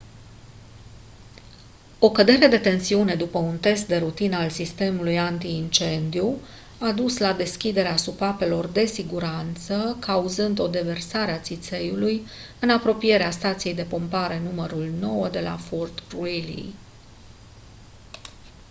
o cădere de tensiune după un test de rutină al sistemului anti-incendiu a dus la deschiderea supapelor de siguranță cauzând o deversare a țițeiului în apropierea stației de pompare nr. 9 de la fort greely